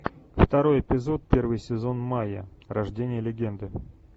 второй эпизод первый сезон майя рождение легенды